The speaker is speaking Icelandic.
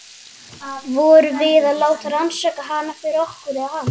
Vorum við að láta rannsaka hana fyrir okkur- eða hana?